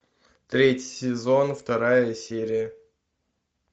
третий сезон вторая серия